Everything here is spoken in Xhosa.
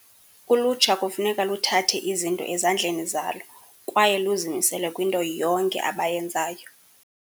Ulutsha kufuneka luthathe izinto ezandleni zalo kwaye luzimisele kwinto yonke abayenzayo.